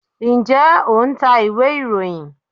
njẹ o ń tá ìwé iroyín?